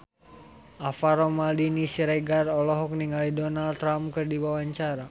Alvaro Maldini Siregar olohok ningali Donald Trump keur diwawancara